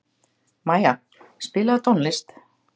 Maja, spilaðu tónlist.